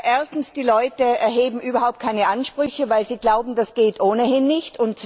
Erstens Die Leute erheben überhaupt keine Ansprüche, weil sie glauben, das geht ohnehin nicht.